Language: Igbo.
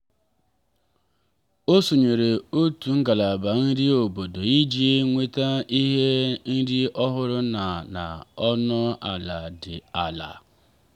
o sonyeere otu ngalaba nri obodo iji nweta ihe nri ọhụrụ na na ọnụ ala dị ala.